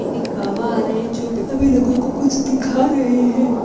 एक बाबा आ रहे हैं जो सभी लोगों को कुछ दिखा रहे हैं।